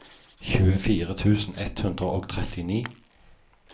tjuefire tusen ett hundre og trettini